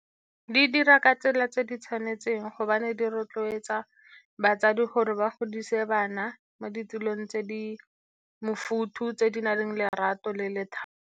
Di dira ka tsela tse di tshwanetseng, gobane di rotloetsa batsadi gore ba godise bana mo ditulong tse di mofuthu, tse di nang lerato le lethabo.